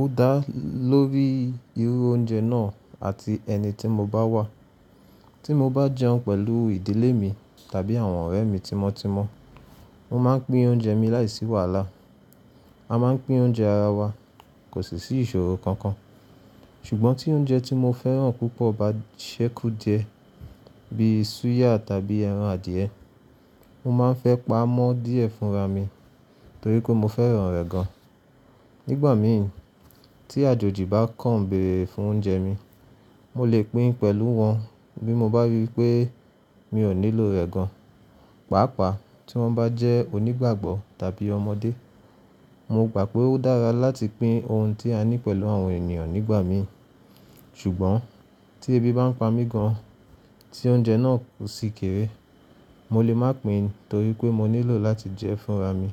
Ó dá lórí irú oúnjẹ náà àti ẹni tí mo bá wà. Tí mo bá jẹun pẹ̀lú ìdílé mi tàbí àwọn ọ̀rẹ́ mi tímọ́tímọ́, mo máa ń pín oúnjẹ mi láìsí wàhálà. A máa ń pín oúnjẹ ara wa, kò sì sí ìṣòro kankan. Ṣùgbọ́n tí oúnjẹ tí mo fẹ́ràn púpọ̀ bá ṣẹ́kù die bí i súyà tàbí ẹran adìẹ, mo máa ń fẹ́ pa á mọ́ díẹ̀ fúnra mi torí pé mo fẹ́ràn rẹ̀ gan. Nígbà mi ì, tí àjòjì bá kàn bèrè fún oúnjẹ mi, mo lè pín in pẹ̀lú wọn bí mo bá rí i pé mi ò nílò rẹ̀ gan, pàápàá tí wọ́n bá jẹ́ onígbàgbọ́ tàbí ọmọdé. Mo gbà pé ó dára láti pín ohun tí a ní pẹ̀lú àwọn ènìyàn nígbà mi. Ṣùgbọ́n tí ebi bá ń pa mí gan, tí oúnjẹ náà kò sì kéré, mo lè má pín torí pé mo nílò láti jẹ ẹ́ fúnra mi